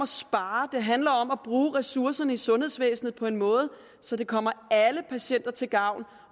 spare det handler om at bruge ressourcerne i sundhedsvæsenet på en måde så det kommer alle patienter til gavn